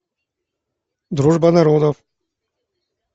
дружба народов